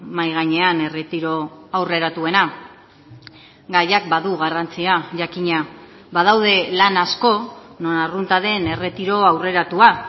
mahai gainean erretiro aurreratuena gaiak badu garrantzia jakina badaude lan asko non arrunta den erretiro aurreratua